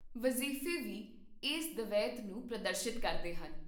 ਵਜ਼ੀਫੇ ਵੀ ਇਸ ਦਵੈਤ ਨੂੰ ਪ੍ਰਦਰਸ਼ਿਤ ਕਰਦੇ ਹਨ